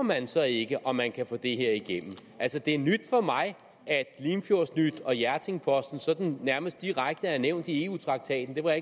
man så ikke om man kan få det her igennem altså det er nyt for mig at limfjordsnyt og hjerting posten sådan nærmest er direkte nævnt i eu traktaten det var